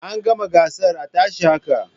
An gama gasar a tashi haka